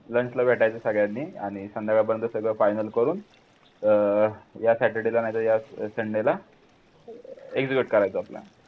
lunch भेटायचं सगळ्यांनी आणि संध्याकाळपर्यंत सगळं final करू या Saturday ला नाही तर या Sunday करायचा आपला